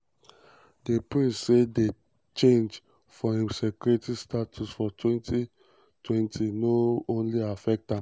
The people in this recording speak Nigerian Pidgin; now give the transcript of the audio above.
di prince say di change for im security status for 2020 no only affect am